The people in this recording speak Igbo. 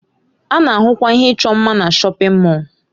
A na-ahụkwa ihe ịchọ mma na shọpin Mọll.